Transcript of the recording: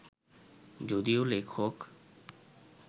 যদিও লেখক